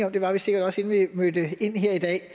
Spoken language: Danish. og det var vi sikkert også inden vi mødte ind her i dag